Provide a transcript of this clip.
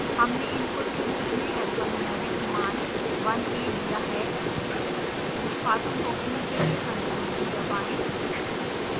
हमने इनपुट के रूप में अल्फा न्यूमेरिक मान 1 a दिया है निष्पादन रोकने के लिए ctrl+c दबाएं